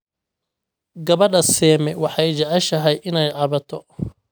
Gabadha Seme waxay jeceshahay inay cabato